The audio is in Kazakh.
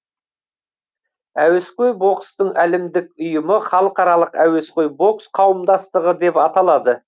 әуесқой бокстың әлемдік ұйымы халықаралық әуесқой бокс қауымдастығы деп аталады